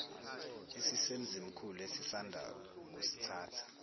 esisemzimkhulu esisanda kusithatha